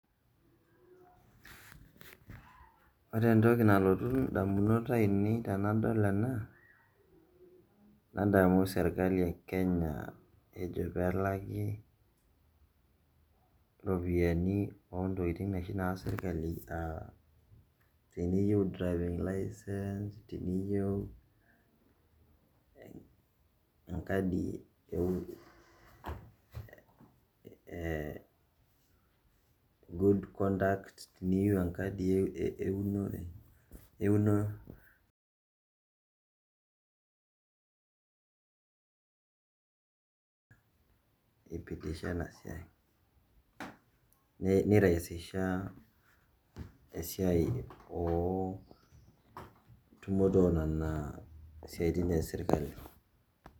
Ore entoki nalotu indamunot tenadol ena, nadamu serkali e Kenya ejo pelaki ropiyaiani ontokiting oshi naas serkali, ah teniyieu driving licence ,teniyieu enkadi e good conduct, teniyieu enkadi eunore, aipitisha enasiai. Nitayu si SHA esiai oontumoto onena siaitin esirkali.